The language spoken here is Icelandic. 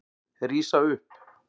Rísa upp.